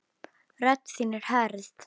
Rödd þín er hörð.